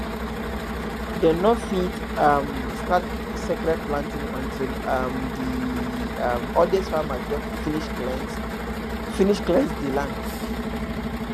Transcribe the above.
dem no fit um start sacred planting until um di um oldest farmer don finish cleanse finish cleanse di land